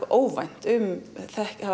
óvænt um